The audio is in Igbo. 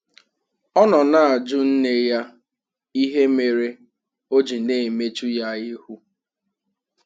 Ọ nọ na-ajụ nne ya ịhe mere ọ jị na-emechụ ya ihụ.